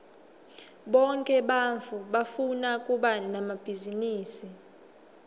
bonke bantfu bafuna kuba nemabhizinisi